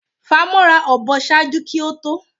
Famọra a ọbọ ṣaaju ki o to,?